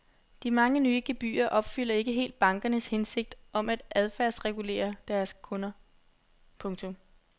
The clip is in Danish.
De mange nye gebyrer opfylder ikke helt bankernes hensigt om at adfærdsregulere deres kunder. punktum